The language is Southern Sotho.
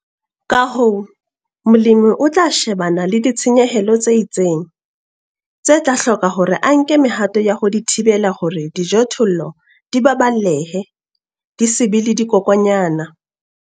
Ka hoo, molemi o tla shebana le ditshenyehelo tse itseng, tse tla hloka hore a nke mehato ya ho di thibela hore dijothollo di baballehe, di se be le dikokwanyana.